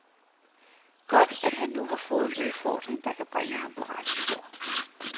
Godt, at han nu har fået en udfordring, der kan bringe ham på rette spor.